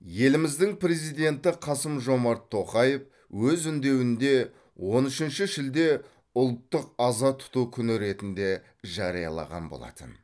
еліміздің президенті қасым жомарт тоқаев өз үндеуінде он үшінші шілде ұлттық аза тұту күні ретінде жариялаған болатын